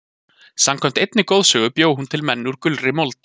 samkvæmt einni goðsögu bjó hún til menn úr gulri mold